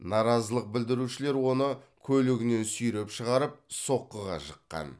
наразылық білдірушілер оны көлігінен сүйреп шығарып соққыға жыққан